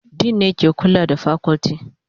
Dean ne ke kula da fakulti